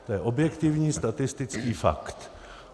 To je objektivní statistický fakt.